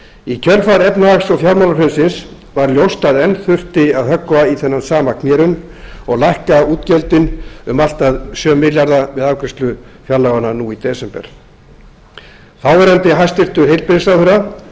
í kjölfar efnahags og fjármálahrunsins var ljóst að enn þurfti að höggva í þennan sama knérunn og lækka útgjöldin um allt að sjö milljarða við afgreiðslu fjárlaganna nú í desember þáv hæstvirtur heilbrigðisráðherra